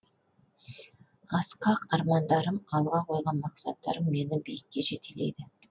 асқақ армандарым алға қойған мақсаттарым мені биікке жетелейді